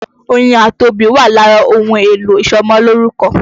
Oyin àti obì wà lára ohun èlò ìṣọmọlórúkọ.